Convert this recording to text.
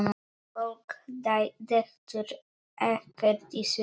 Fólk dettur ekkert í sundur.